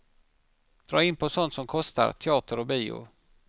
Drar in på sånt som kostar, teater och bio.